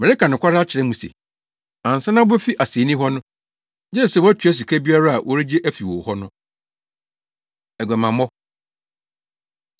Mereka no nokware akyerɛ mo se, ansa na wubefi asennii hɔ no, gye sɛ woatua sika biara a wɔregye afi wo hɔ no. Aguamammɔ